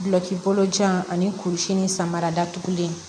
Bulɔki bolo jan ani kurusi ni samara datugulen